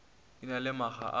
e na le makga a